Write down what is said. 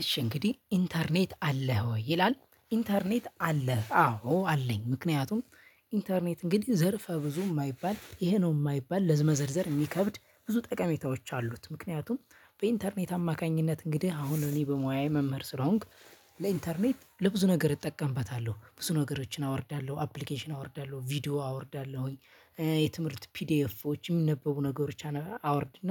እሺ እንግዲህ ኢንተርኔት አለህ ወይ? ይላል ኢንተርኔት አለህ አዎ አለኝ ምክንያቱም ኢንተርኔት እንግዲህ ዘርፈ ብዙ የማይባል ይሄ ነው የማይባል ለመዘርዘር የሚከብድ ብዙ ጠቀሜታዎች አሉት። ምክንያቱም በኢንተርኔት አማካኝነት እንግዲህ አሁን እኔ በሙያዬ መምህር ስለሆንክ ለኢንተርኔት ለብዙ ነገር እጠቀምበታለሁ ብዙ ነገሮችን አወርዳለሁ አፕሊኬሽን አወርዳለሁ ቪዲዮ አወርዳለሁኝ። የትምህርት ፒዲኤፎች የሚነበቡ ነገሮች አወርድና